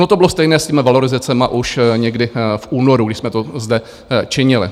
Ono to bylo stejné s těmi valorizacemi už někdy v únoru, když jsme to zde činili.